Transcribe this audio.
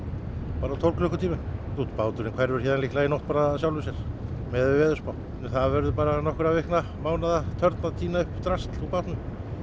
bara á tólf klukkutímum báturinn hverfur héðan líklega út í nótt af sjálfu sér miðað við veðurspá það verður nokkra vikna mánaða törn að týna upp drasl úr bátnum